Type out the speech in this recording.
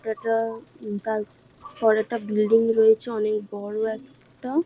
এটা উম তারপরে একটা ব্লিডিং রয়েছে অনেক বড় একটা-আ।